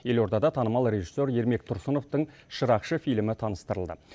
елордада танымал режиссер ермек тұрсыновтың шырақшы фильмі таныстырылды